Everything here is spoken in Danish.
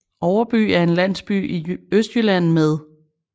Overby er en landsby i Østjylland med